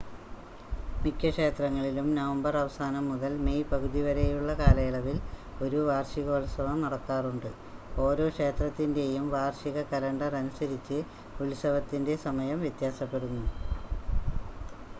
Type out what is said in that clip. മിക്ക ക്ഷേത്രങ്ങളിലും നവംബർ അവസാനം മുതൽ മെയ് പകുതി വരെയുള്ള കാലയളവിൽ ഒരു വാർഷികോത്സവം നടക്കാറുണ്ട് ഓരോ ക്ഷേത്രത്തിൻ്റെയും വാർഷിക കലണ്ടർ അനുസരിച്ച് ഉത്സവത്തിൻ്റെ സമയം വ്യത്യാസപ്പെടുന്നു